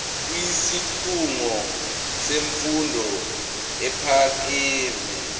kwisikhungo semfundo ephakeme